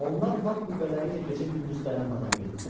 Onlar var qüvvələri ilə gecə-gündüz dayanmadan getdilər.